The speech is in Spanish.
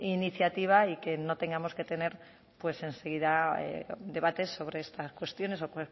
iniciativa y que no tengamos que tener enseguida un debate sobre estas cuestiones o